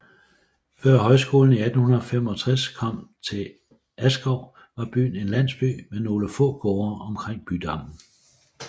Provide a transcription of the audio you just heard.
Før højskolen i 1865 kom til Askov var byen en landsby med nogle få gårde omkring bydammen